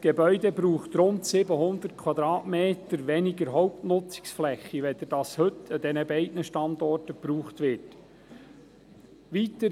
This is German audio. Zudem braucht das Gebäude rund 700 Quadratmeter weniger Hauptnutzungsfläche als dies heute an diesen beiden Standorten der Fall ist.